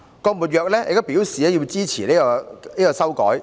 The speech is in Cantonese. "郭沫若亦表態支持改歌詞。